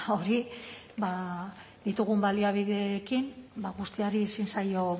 hori ba ditugun baliabideekin ba guztiari ezin zaio